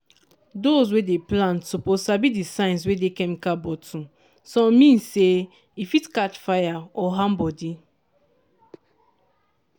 those wey dey plant suppose sabi the signs wey dey chemical bottle—some mean say e fit catch fire or harm body.